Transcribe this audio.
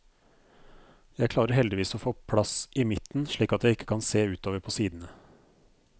Jeg klarer heldigvis å få plass i midten slik at jeg ikke kan se utover på sidene.